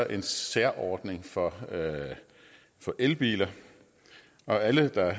en særordning for for elbiler alle der